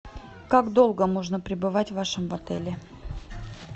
как долго можно прибывать в вашем отеле